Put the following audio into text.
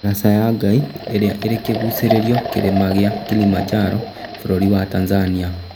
Ndaraca ya Ngai ĩrĩa ĩrĩ kĩgucĩrio kĩrĩma gĩa Kilimanjaro bũrũri wa Tanzania